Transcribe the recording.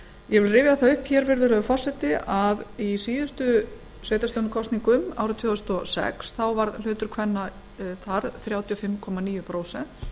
ég rifja það upp að í síðustu sveitarstjórnarkosningum árið tvö þúsund og sex var hlutur kvenna þrjátíu og fimm komma níu prósent